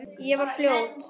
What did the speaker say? Ég var fljót.